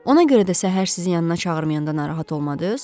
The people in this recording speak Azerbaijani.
Ona görə də səhər sizin yanına çağırmayanda narahat olmadınız?